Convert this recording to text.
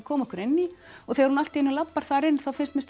koma okkur inn í og þegar hún allt í einu labbar þar inn þá fannst mér